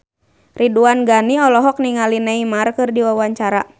Ridwan Ghani olohok ningali Neymar keur diwawancara